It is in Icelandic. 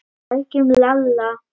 Sækjum Lalla!